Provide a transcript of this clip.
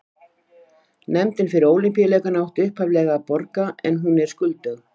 Nefndin fyrir Ólympíuleikana átti upphaflega að borga en hún er skuldug.